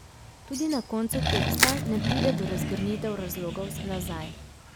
Tudi na koncu teksta ne pride do razgrnitev razlogov za nazaj.